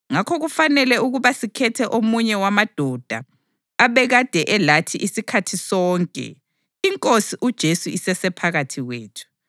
Ngakho kufanele ukuba sikhethe omunye wamadoda abekade elathi isikhathi sonke iNkosi uJesu isesephakathi kwethu,